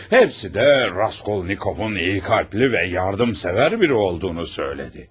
Hepsi de Raskolnikov'un iyi kalpli ve yardımsever biri olduğunu söyledi.